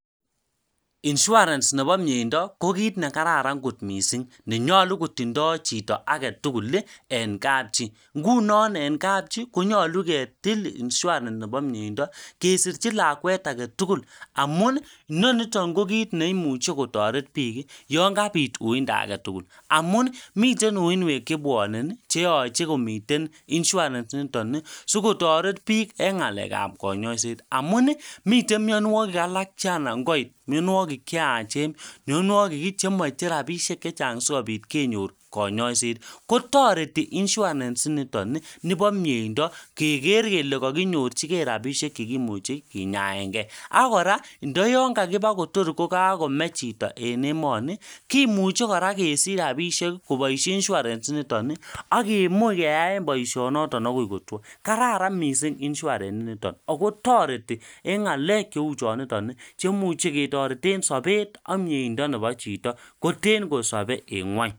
Insurance nebo miyeindo ko kiit nekararan kot mising' nenyolu kotindoi kotindoi chito agetugul eng' kapchai ngunon eng' kapchai konyolu ketil insurance nebo miyeindo kesirchin lakwet agetugul amu neniton ko kiit neimuchei kotoret biik yon kabit uinda agetugul amu miten uinwek chebwonen cheyochei komiten insurance nitoni sikotoret biik eng' ng'alekab kanyaiset amun miten mionwokik alak chanan koit miyonwokik cheyachen miyonwokik chemochei rapishek chechang' sikobit kenyor kanyaishet kotoreti insurance niton nibo miyeindo keker kele kakonyorchigei rapishek chekimuchei kinyaengei akora ndayon kakiba Kotor kokakome chito en emoni kimuchei kora kesich rapishek koboishe insurance niton akemuch keyaen boishonoto akoi kotwo kararan mising' insurance nito ako toreti eng' ng'alek cheu chonoton cheamuchin ketorete sobet ak miyeindo nebo chito koten kosobei en ng'weny